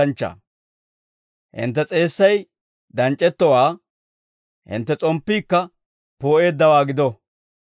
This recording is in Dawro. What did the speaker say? «Hintte s'eessay danc'c'ettowaa, hintte s'omppiikka poo'eeddawaa gido.